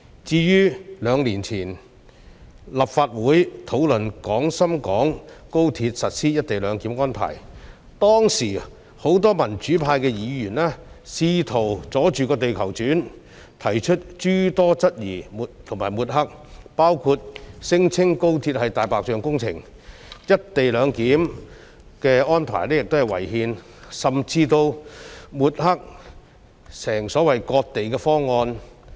至於兩年前，立法會討論廣深港高鐵實施"一地兩檢"安排，當時很多民主派議員試圖"阻住地球轉"，提出諸多質疑和抹黑，包括聲稱高鐵是"大白象"工程、"一地兩檢"安排違憲，甚至抹黑有關安排為所謂的"割地"方案。